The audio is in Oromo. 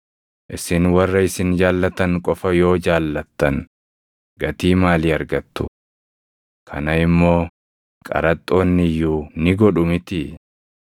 Isin warra isin jaallatan qofa yoo jaallattan gatii maalii argattu? Kana immoo qaraxxoonni iyyuu ni godhu mitii?